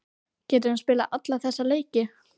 Getur hann spilað alla þessa leiki?